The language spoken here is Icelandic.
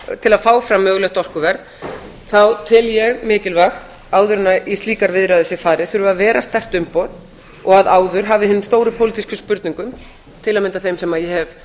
breta til að fá fram mögulegt orkuverð þá tel ég mikilvægt áður en í slíkar viðræður sé farið þurfi að vera sterkt umboð og áður hafi hinni stórpólitísku spurningu til að mynda þeirri sem ég hef